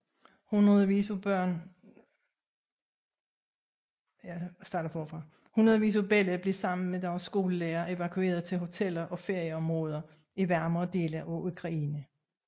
Hundredvis af børn blev sammen med deres skolelærere evakueret til hoteller og ferieområder i varmere dele af Ukraine